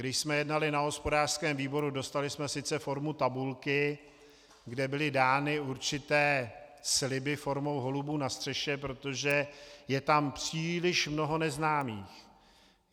Když jsme jednali na hospodářském výboru, dostali jsme sice formu tabulky, kde byly dány určité sliby formou holubů na střeše, protože je tam příliš mnoho neznámých.